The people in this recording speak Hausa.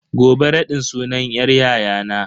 Gobe raɗin sunan yar yayana.